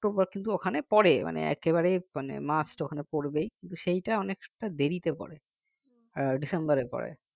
October কিন্তু ওখানে পরে মানে একেবারেই must ওখানে পড়বেই সেটা অনেকটা দেরিতে পড়ে ডিসেম্বরের পরে